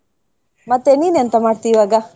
ಮತ್ತೆ, ನೀನ್ ಎಂತ ಮಾಡ್ತಿ ಈವಾಗ?